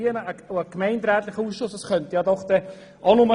Ein gemeinderätlicher Ausschuss könnte nur aus zwei Personen bestehen.